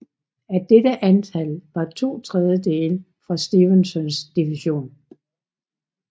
Af dette antal var de to tredjedele fra Stevensons division